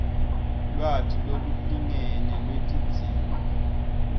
lwati lolulingene lwetidzingo